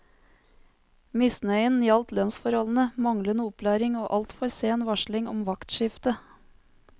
Misnøyen gjaldt lønnsforholdene, manglende opplæring, og altfor sen varsling om vaktskifte.